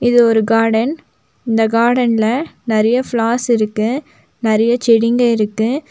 இது ஒரு கார்டன் இந்த கார்டன்ல நெறைய பிளார்ஸ் இருக்கு நெறைய செடிங்க இருக்கு.